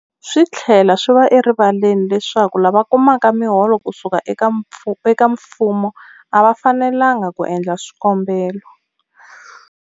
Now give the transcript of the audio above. Swi tlhela swi va erivaleni leswaku lava kumaka miholo ku suka eka mfumo a va fanelanga ku endla swikombelo.